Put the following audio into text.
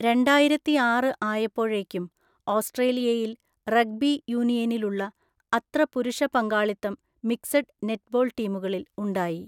രണ്ടായിരത്തിയാറ് ആയപ്പോഴേക്കും ഓസ്ട്രേലിയയിൽ റഗ്ബി യൂണിയനിലുള്ള അത്ര പുരുഷ പങ്കാളിത്തം മിക്സഡ് നെറ്റ്ബോൾ ടീമുകളിൽ ഉണ്ടായി.